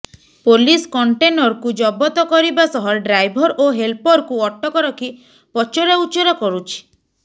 police କଣ୍ଟେନରକୁ ଜବତ କରିବା ସହ ଡ୍ରାଇଭର ଓ ହେଲପରକୁ ଅଟକ ରଖି ପଚରାଉଚରା କରୁଛି